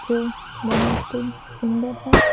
जो बहुत सुंदर है।